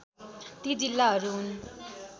ती जिल्लाहरू हुन्